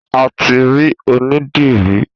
A ti rí onídìrí.